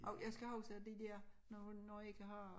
Og jeg skal huske at det dér når når jeg ikke har